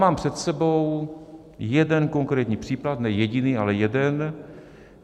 Mám před sebou jeden konkrétní případ - ne jediný, ale jeden.